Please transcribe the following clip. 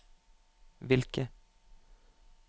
hvilke